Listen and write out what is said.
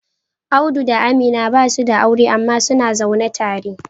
Audu da Amina basu da aure amma suna zaune tare